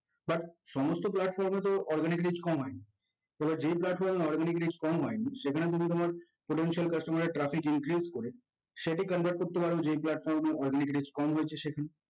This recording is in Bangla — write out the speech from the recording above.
but সমস্ত platform এ তো organic reach কম হয়নি তবে যে platform এ organic reach কম হয়নি সেখানে যদি তোমার potential customer এর traffic increase করে সেটি convert করতে পারো যে platform এ organic reach কম হয়েছে সেখানে